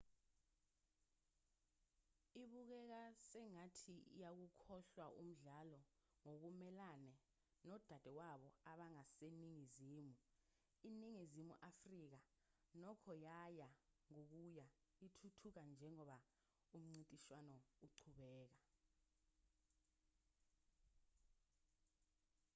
ibukeka sengathi iyawukhohlwa umdlalo ngokumelene nodadewabo abangaseningizimu iningizimu afrika nokho yaya ngokuya ithuthuka njengoba umncintiswano uqhubeka